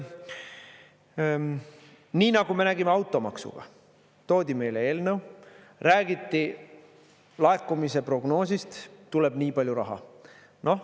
Nii nagu me nägime automaksuga, toodi meile eelnõu, räägiti laekumise prognoosist, et tuleb nii palju raha.